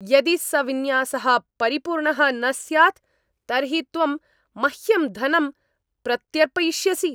यदि स विन्यासः परिपूर्णः न स्यात् तर्हि त्वं मह्यं धनं प्रत्यर्पयिष्यसि।